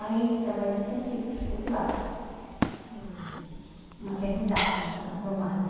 Aí trabalhei no centro cirúrgico de lá, com com maternidade, na Promatre.